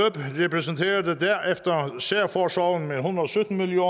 repræsenterede derefter særforsorgen med en hundrede og sytten million